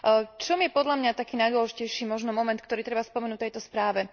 V čom je podľa mňa taký najdôležitejší moment, ktorý treba spomenúť k tejto správe?